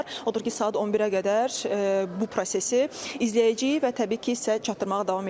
Odur ki, saat 11-ə qədər bu prosesi izləyəcəyik və təbii ki, sizə çatdırmağa davam eləyəcəyik.